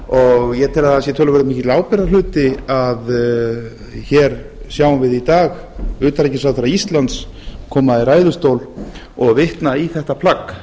henni stendur ég tel að það sé töluvert mikill ábyrgðarhluti að hér sjáum við í dag utanríkisráðherra íslands koma í ræðustól og vitna í þetta plagg